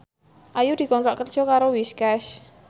Ayu dikontrak kerja karo Whiskas